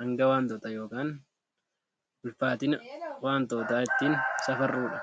hanga wantootaa yookaan ulfaatina wantootaa ittiin safarrudha.